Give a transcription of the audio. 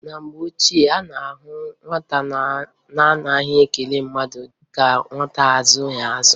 Na mgbe ochie, a na-ahụ nwata na-anaghị ekele mmadụ dịka nwa azụghị azụ.